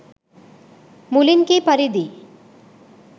මුලින්කී පරිදි